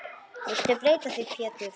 Viltu breyta því Pétur.